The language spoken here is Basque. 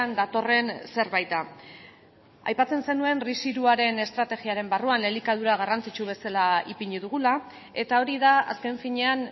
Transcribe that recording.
datorren zerbait da aipatzen zenuen ris hiruaren estrategiaren barruan elikadura garrantzitsu bezala ipini dugula eta hori da azken finean